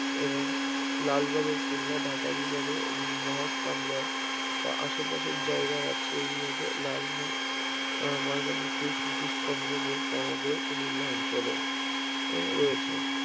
এবং লালবাগের কেল্লা ঢাকা বিভাগে এবং মহাস্থানগড় বা আশেপাশের জায়গা আছে এই বিভাগে লালময় আহ ময়নামতির কৃতিসম্ভ সমগ্র মেলে এই অঞ্চলে এ রয়েছে